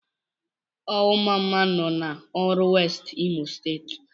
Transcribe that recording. Awọ mmamma nọ n'Oru West, Imo State.